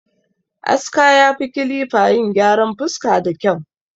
Aska ya fi kilifa yin gyaran fuska da kyau